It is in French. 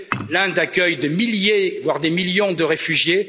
L'Inde accueille des milliers, voire des millions de réfugiés.